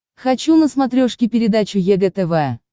хочу на смотрешке передачу егэ тв